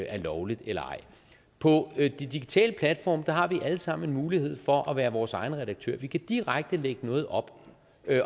er lovligt eller ej på de digitale platforme har vi alle sammen en mulighed for at være vores egen redaktør vi kan direkte lægge noget op